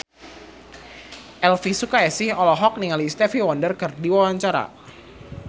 Elvy Sukaesih olohok ningali Stevie Wonder keur diwawancara